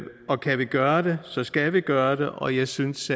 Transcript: og kan vi gøre det så skal vi gøre det og jeg synes